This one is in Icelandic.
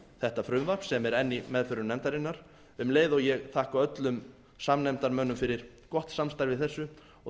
þetta frumvarp sem er enn í meðförum nefndarinnar um leið og ég þakka öllum samnefndarmönnum fyrir gott samstarf í þessu og